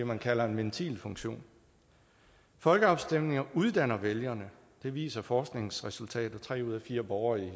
man kalder en ventilfunktion folkeafstemninger uddanner vælgerne det viser forskningsresultater tre ud af fire borgere i